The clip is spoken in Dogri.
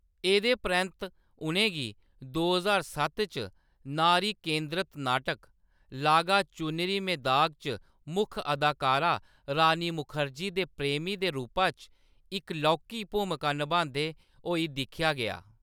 एह्‌‌‌दे परैंत्त उʼनेंगी दो ज्हार सत्त च नारी-केंद्रत नाटक लागा चुनरी में दाग च मुक्ख अदाकारा रानी मुखर्जी दे प्रेमी दे रूपा च इक लौह्‌‌‌की भूमिका नभांदे होई दिक्खेआ गेआ।